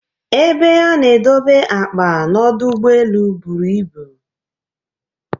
Ebe ana edobe akpa n'ọdụ ụgbọ buru ibu